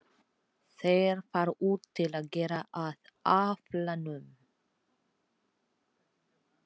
Þeir fara út til að gera að aflanum.